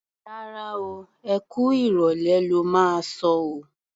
Rárá o, ẹ kú ìrọ̀lẹ́ lo máa sọ o.